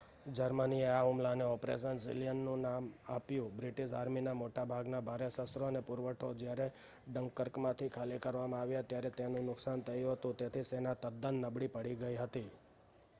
જર્મનીએ આ હુમલાને ઓપરેશન સીલિયન નામ આપ્યું બ્રિટિશ આર્મીના મોટા ભાગના ભારે શસ્ત્રો અને પુરવઠો જ્યારે ડંકર્કમાંથી ખાલી કરવામાં આવ્યો ત્યારે તેનું નુકસાન થયું હતું તેથી સેના તદ્દન નબળી પડી ગઈ હતી